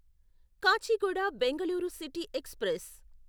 Kachiguda Bangalore city express